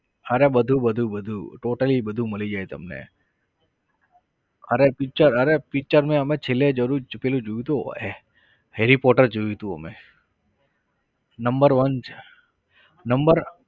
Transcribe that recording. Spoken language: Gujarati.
અરે બધું બધું બધું totally બધું મળી જાય તમને અરે picture અરે picture માં અમે છેલ્લે જરૂર પેલો જીવતો હોય છે harry potter જોયું હતું અમે. number one number